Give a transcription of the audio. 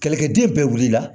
Kɛlɛkɛden bɛɛ wulila